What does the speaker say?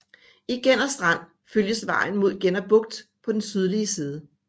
I Genner Strand følges vejen med Genner Bugt på den sydlige side